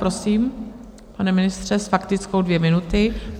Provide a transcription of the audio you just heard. Prosím, pane ministře, s faktickou dvě minuty.